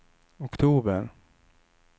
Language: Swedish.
oktober